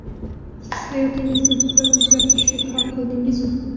Siz hayotingizni tubdan o‘zgartirishga qaror qildingizmi?